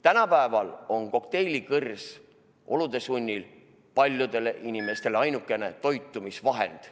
Tänapäeval on kokteilikõrs olude sunnil paljudele inimestele ainukene toitumisvahend.